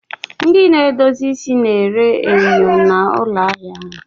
Ndị na-edozi isi na-enwe enyo na ụlọ ahịa ha.